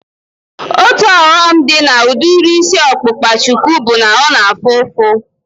Otu ọghọm dị na udiri isi ọkpụkpa shuku bụ na ọ na-afụ oke ụfụ